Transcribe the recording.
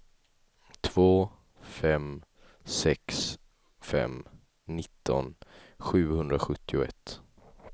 två fem sex fem nitton sjuhundrasjuttioett